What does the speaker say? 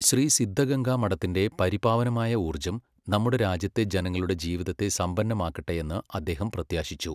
ശ്രീ സിദ്ധഗംഗാ മഠത്തിന്റെ പരിപാവനമായ ഊർജ്ജം നമ്മുടെ രാജ്യത്തെ ജനങ്ങളുടെ ജീവിതത്തെ സമ്പന്നമാക്കട്ടെയെന്ന് അദ്ദേഹം പ്രത്യാശിച്ചു.